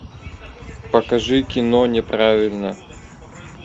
покажи кино неправильная